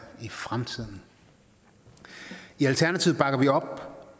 i fremtiden i alternativet bakker vi op